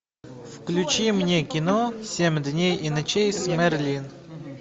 включи мне кино семь дней и ночей с мэрилин